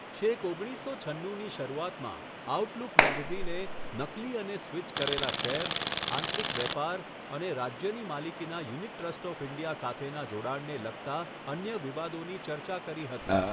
છેક ઓગણીસસો છન્નુની શરૂઆતમાં, આઉટલુક મેગેઝિને નકલી અને સ્વિચ કરેલા શેર, આંતરિક વેપાર અને રાજ્યની માલિકીના યુનિટ ટ્રસ્ટ ઓફ ઇન્ડિયા સાથેના જોડાણને લગતા અન્ય વિવાદોની ચર્ચા કરી હતી.